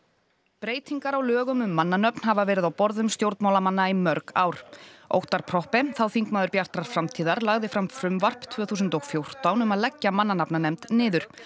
breytingar á lögum um mannanöfn hafa verið á borðum stjórnmálamanna í mörg ár Óttarr Proppé þá þingmaður Bjartrar framtíðar lagði fram frumvarp tvö þúsund og fjórtán um að leggja mannanafnanefnd niður